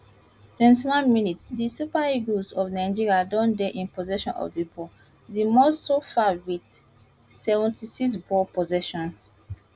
twenty one minutes di super eagles of nigeria don dey in possession of di ball di most so far wit seventy six ball possession